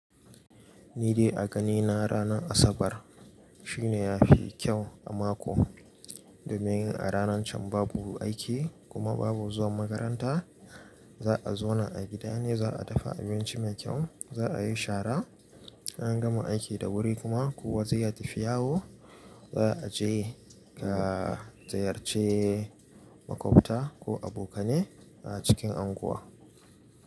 Ni dai a ganina ranar Asabar shine yafi kyau a mako, domin a ranar can babu aiki kuma babu zuwa makaranta. Za a zauna a gida ne, za a dafa abinci mai kyau, za a yi shara. In an gama aiki da wuri kuma kowa zai tafi yawo, za a je ga ziyarce makwabta ko abokanai a cikin unguwa.